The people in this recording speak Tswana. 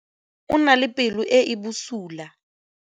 o na le pelo e e bosula.